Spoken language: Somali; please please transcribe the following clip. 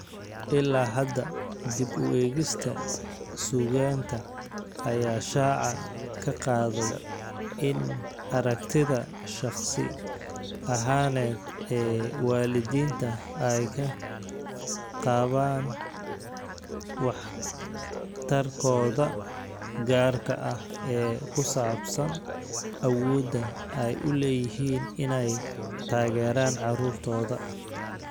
Ilaa hadda, dib u eegista suugaanta ayaa shaaca ka qaaday in aragtida shakhsi ahaaneed ee waalidiintu ay ka qabaan waxtarkooda gaarka ah ee ku saabsan awoodda ay u leeyihiin inay taageeraan carruurtooda.